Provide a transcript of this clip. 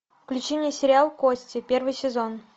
включи мне сериал кости первый сезон